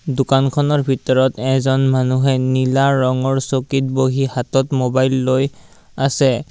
দোকানখনৰ ভিতৰত এজন মানুহে নীলা ৰঙৰ চকিত বহি হাতত মোবাইল লৈ আছে।